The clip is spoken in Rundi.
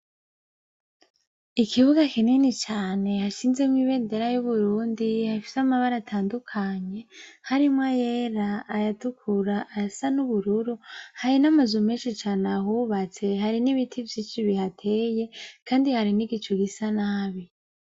Ikibuga kinini cane hashinze ibendera y'Uburundi, hafise amabara atandukanye harimwo ayera ,ayatukura, ayasa n'ubururu, hari n' amazu meshi cane ahubatse hari n'ibiti vyinshi bihateye kandi hari n'igicu gisa nabi.